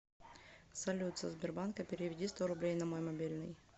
салют со сбербанка переведи сто рублей на мой мобильный